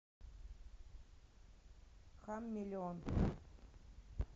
хам миллион